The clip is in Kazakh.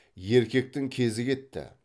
еркектің кезі кетті